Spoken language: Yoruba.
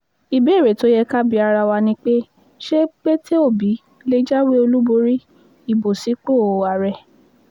ìbéèrè tó yẹ ká bi ara wa ni pé ṣé pété obi lè jáwé olúborí ibo sípò àárẹ̀